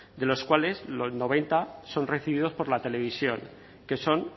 de los cuales noventa son recibidos por la televisión que son